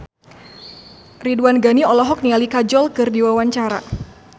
Ridwan Ghani olohok ningali Kajol keur diwawancara